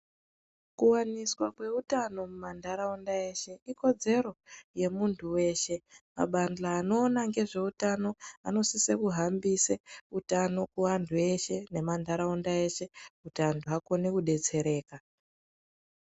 Kuwaniswa kweutano mumandaraunda eshe ikodzero yemuntu weshe mabahla anoona nezveutano anosise kuhambise utano kuantu eshe nemandaraunda eshe kuti antu akone kudetsereka.